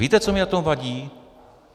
Víte, co mi na tom vadí?